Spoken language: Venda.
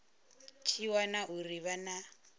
tshi wana uri ha na